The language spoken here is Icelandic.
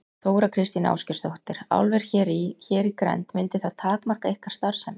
Þóra Kristín Ásgeirsdóttir: Álver hér í, hér í grennd mundi það takmarka ykkar starfsemi?